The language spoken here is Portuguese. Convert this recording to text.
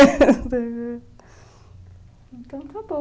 Então, acabou.